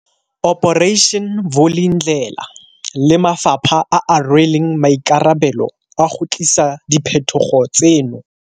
Operation Vulindlela le mafapha a a rweleng maikarabelo a go tlisa diphetogo tseno.